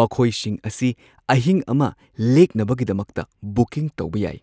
ꯃꯈꯣꯏꯁꯤꯡ ꯑꯁꯤ ꯑꯍꯤꯡ ꯑꯃ ꯂꯦꯛꯅꯕꯒꯤꯗꯃꯛꯇ ꯕꯨꯀꯤꯡ ꯇꯧꯕ ꯌꯥꯏ꯫